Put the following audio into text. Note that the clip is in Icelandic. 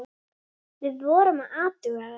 Við vorum að athuga það.